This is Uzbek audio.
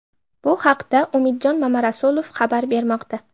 Bu haqda Umidjon Mamarasulov xabar bermoqda.